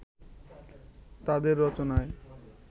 তাঁদের রচনায়